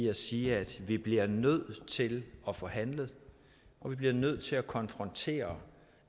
at sige at vi bliver nødt til at få handlet vi bliver nødt til at konfrontere